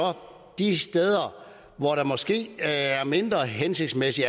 de steder hvor der måske er mindre hensigtsmæssig